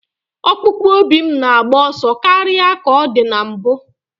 Ọkpụkpụ obi m na-agba ọsọ karịa ka ọ dị na mbụ.